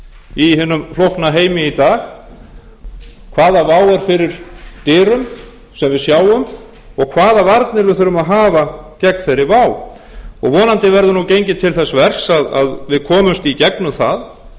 í hinum flókna heimi í dag hvaða vá er fyrir dyrum sem við sjáum og hvaða varnir við þurfum að hafa gegn þeirri vá vonandi verður nú gengið til þess verks að við komumst í gegnum það